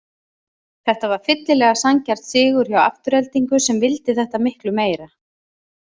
Þetta var fyllilega sanngjarn sigur hjá Aftureldingu sem vildi þetta miklu meira.